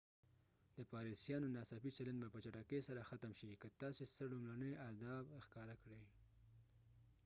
د پاريسيانو ناڅاپي چلند به په چټکۍ سره ختم شي که تاسو څه لومړني آداب ښکاره کړئ